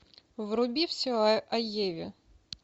вруби все о еве